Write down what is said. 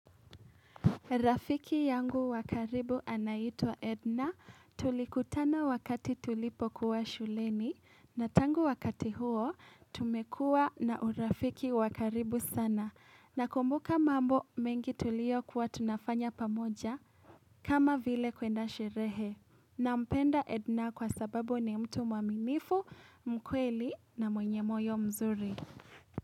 Rafiki yangu wa karibu anaitwa Edna, tulikutana wakati tulipokuwa shuleni na tangu wakati huo, tumekuwa na urafiki wa karibu sana. Nakumbuka mambo mengi tuliokuwa tunafanya pamoja kama vile kwenda sherehe. Nampenda Edna kwa sababu ni mtu mwaminifu, mkweli na mwenye moyo mzuri.